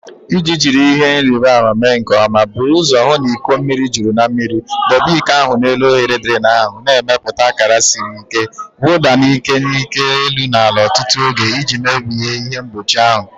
Iji jiri ihe nrịbama mee nke ọma, buru ụzọ hụ na iko mmiri juru na mmiri. Debe iko ahụ n'elu oghere drain ahụ, na-emepụta akara siri ike. Wụda n'ike n'ike elu na ala ọtụtụ oge iji mebie ihe mgbochi ahụ..